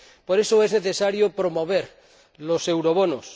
Por eso es necesario promover los eurobonos.